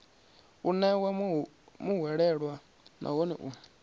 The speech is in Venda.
u ṋewa muhwelelwa nahone u